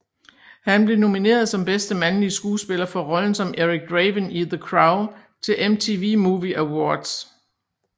Han blev nomineret som bedste mandlige skuespiller for rollen som Eric Draven i The Crow til MTV Movie Awards